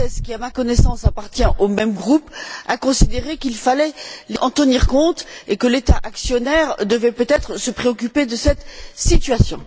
Gauzès, qui, à ma connaissance, appartient au même groupe, a considéré qu'il fallait en tenir compte et que l'État actionnaire devait peut être se préoccuper de cette situation.